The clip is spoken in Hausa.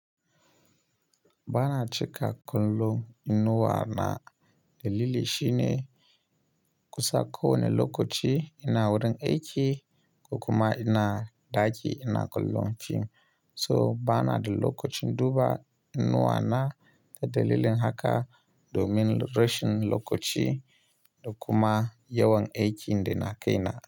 Bana cika kallon inuwa na dalili shine kusan kowane lokaci ina wurin aiki ko kuma ina ɗaki ina kullum film. So bana da lokacin duba inuwa na a dalilin haka domin rashin lokaci da kuma yawan aikin da na kai na.